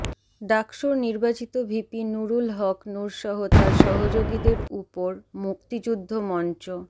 ডাকসুর নির্বাচিত ভিপি নুরুল হক নুরসহ তার সহযোগীদের ওপর মুক্তিযুদ্ধ মঞ্চ